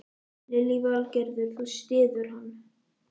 Lillý Valgerður: Þú styður hann?